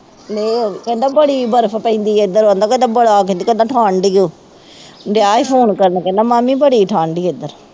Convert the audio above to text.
ਨਹੀਂ ਉਹ ਕਹਿੰਦਾ ਬੜੀ ਬਰਫ ਪੈਂਦੀ ਹੈ ਇੱਧਰ ਉਹ ਕਹਿੰਦਾ ਬੜਾ ਠੰਢ ਹੀ ਹੋ, ਡਿਆ ਹੈ ਫੋਨ ਕਰਨ ਕਹਿੰਦਾ ਮਾਮੀ ਬੜੀ ਠੰਢ ਹੈ ਇੱਧਰ